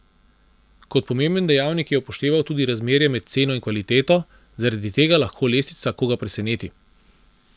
Kot pomemben dejavnik je upošteval tudi razmerje med ceno in kvaliteto: "Zaradi tega lahko lestvica koga preseneti.